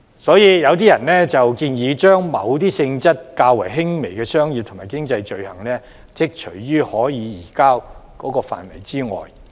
所以，有人建議將某些性質較輕的商業及經濟罪類剔除於可以移交的範圍之外。